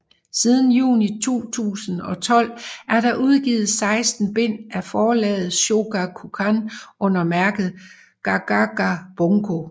Siden juni 2012 er der udgivet 16 bind af forlaget Shogakukan under mærket Gagaga Bunko